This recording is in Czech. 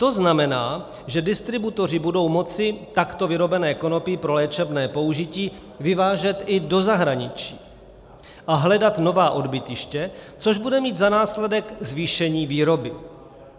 To znamená, že distributoři budou moci takto vyrobené konopí pro léčebné použití vyvážet i do zahraničí a hledat nová odbytiště, což bude mít za následek zvýšení výroby.